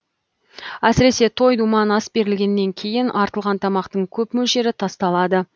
әсіресе той думан ас берілгеннен кейін артылған тамақтың көп мөлшері тасталады